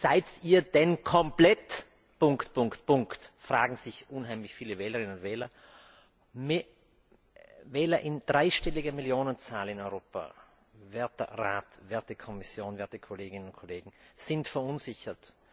Seid ihr denn komplett Punkt, Punkt, Punkt fragen sich unheimlich viele Wählerinnen und Wähler. Wähler in dreistelliger Millionenzahl in Europa, werter Rat, werte Kommission, werte Kolleginnen und Kollegen, sind verunsichert.